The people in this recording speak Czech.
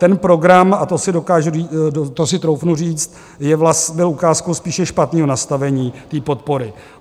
Ten program, a to si troufnu říct, byl ukázkou spíše špatného nastavení té podpory.